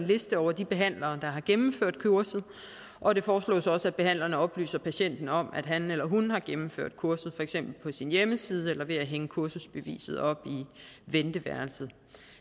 liste over de behandlere der har gennemført kurset og det foreslås også at behandleren oplyser patienterne om at han eller hun har gennemført kurset for eksempel på sin hjemmeside eller ved at hænge kursusbeviset op i venteværelset